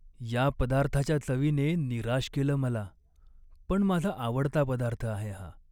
या पदार्थाच्या चवीने निराश केलं मला पण माझा आवडता पदार्थ आहे हा.